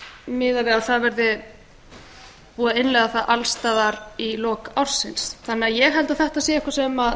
miðað við að það verði búið að innleiða það alls staðar í lok ársins ég held því að þetta sé eitthvað sem